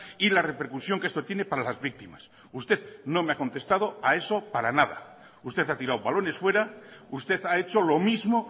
y la repercusión que esto tiene para las víctimas usted no me ha contestado a eso para nada usted ha tirado balones fuera usted ha hecho lo mismo